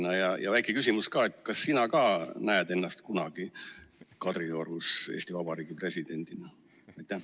Ja veel üks väike küsimus: kas sina ka näed ennast kunagi Kadriorus Eesti Vabariigi presidendina?